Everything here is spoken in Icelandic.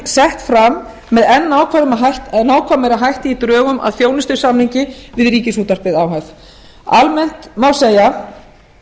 sett fram með enn nákvæmari hætti í drögum að þjónustusamningi við ríkisútvarpið o h f almennt má segja